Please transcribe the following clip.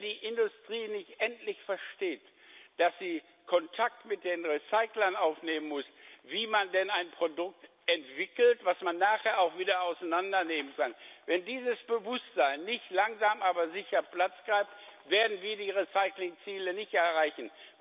Wenn die Industrie nicht endlich versteht, dass sie Kontakt mit den Recyclern aufnehmen muss, wie man denn ein Produkt entwickelt, das man nachher auch wieder auseinandernehmen kann, wenn dieses Bewusstsein nicht langsam, aber sicher Platz greift, werden wir die Recycling Ziele nicht erreichen.